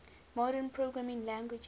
modern programming languages